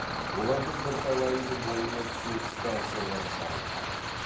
олардың бірталайының бойына су станциялары салынған